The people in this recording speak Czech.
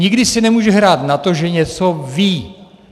Nikdy si nemůže hrát na to, že něco ví.